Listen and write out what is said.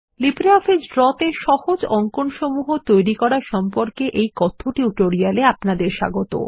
LibreOffice draw এ সহজ অঙ্কনসমূহ তৈরী করা সম্পর্কে এই কথ্য টিউটোরিয়াল এ আপনাদের স্বাগত